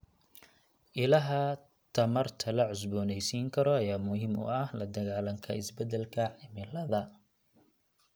Ilaha tamarta la cusboonaysiin karo ayaa muhiim u ah la dagaallanka isbedelka cimilada.